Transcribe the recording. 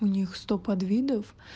у них сто подвидов